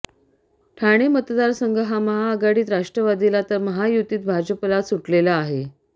ठाणे मतदारसंघ हा महाआघाडीत राष्ट्रवादीला तर महायुतीत भाजपला सुटलेला आहे